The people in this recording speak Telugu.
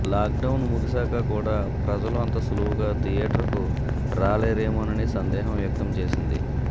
లాక్డౌన్ ముగిసాక కూడా ప్రజలు అంత సులువుగా థియేటర్కు రాలేరేమోనని సందేహం వ్యక్తం చేసింది